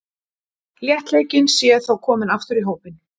Léttleikinn sé þó kominn aftur í hópinn.